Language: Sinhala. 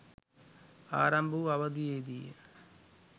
ආරම්භ වූ අවධියේදීය.